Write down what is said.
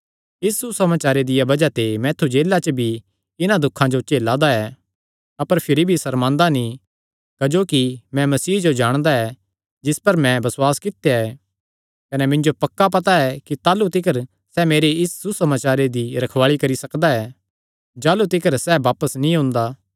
इस सुसमाचारे दिया बज़ाह ते मैं ऐत्थु जेला च भी इन्हां दुखां जो झेला दा ऐ अपर भिरी भी सर्मांदा नीं क्जोकि मैं मसीह जो जाणदा ऐ जिस पर मैं बसुआस कित्या ऐ कने मिन्जो पक्का पता ऐ कि ताह़लू तिकर सैह़ मेरे इस सुसमाचारे दी रखवाल़ी करी सकदा ऐ जाह़लू तिकर सैह़ बापस नीं ओंदा